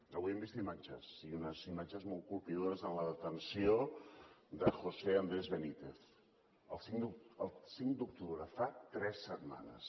avui hem vist imatges i unes imatges molt colpidores de la detenció de josé andrés benítez el cinc d’octubre fa tres setmanes